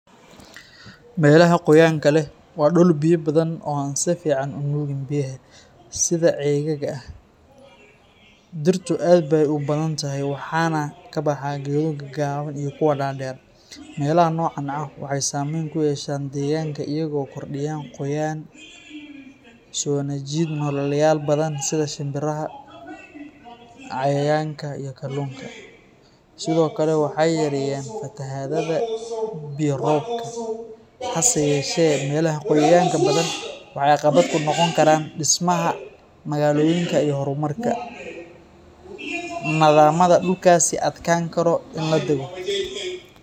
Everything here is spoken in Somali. Meelaha qoyaanka leh ,waa dhul biyo badan oo aan si fiican u nuugin biyaha, sida ceegaaga ah. Dhirtu aad bay u badan tahay, waxaana ka baxa geedo gaagaaban iyo kuwa dhaadheer. Meelaha noocan ah waxay saameyn ku yeeshaan deegaanka iyaga oo kordhiya qoyaan, soona jiida nooleyaal badan sida shinbiraha, cayayaanka, iyo kalluunka. Sidoo kale, waxay yareeyaan fatahaadaha biyo-roobka. Hase yeeshee, meelaha qoyaanka badan waxay caqabad ku noqon karaan dhismaha magaalooyinka iyo horumarka, maadaama dhulkaasi adkaan karo in la dego.